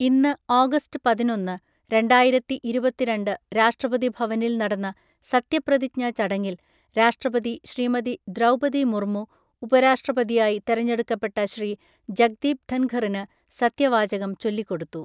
ഇന്ന് ഓഗസ്റ്റ് പതിനൊന്ന്‌, രണ്ടായിരത്തി ഇരുപത്തിരണ്ട്‌ രാഷ്ട്രപതി ഭവനിൽ നടന്ന സത്യപ്രതിജ്ഞാ ചടങ്ങിൽ, രാഷ്ട്രപതി ശ്രീമതി ദ്രൗപദി മുർമു, ഉപരാഷ്ട്രപതിയായി തെരെഞ്ഞെടുക്കപ്പെട്ട ശ്രീ ജഗ്ദീപ് ധൻഖറിന് സത്യവാചകം ചൊല്ലിക്കൊടുത്തു.